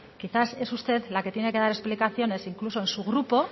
quizá es usted la que tiene que dar explicaciones incluso en su grupo